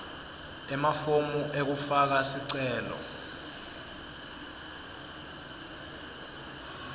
emafomu ekufaka sicelo